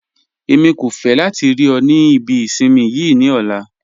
Ẹ̀mi kò fẹ́ látì rí ọ̀ ní ìbí ìṣinmí yii ní ọ̀lá